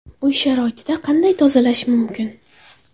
Uy sharoitida qanday tozalash mumkin?